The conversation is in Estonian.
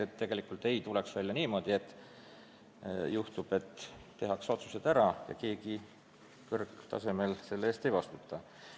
Ei tohiks tulla välja niimoodi, et tehakse otsused ära, aga keegi kõrgtasemel selle eest ei vastuta.